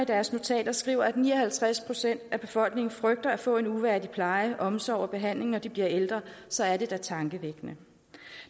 deres notater skriver at ni og halvtreds procent af befolkningen frygter at få en uværdig pleje omsorg og behandling når de bliver ældre så er det da tankevækkende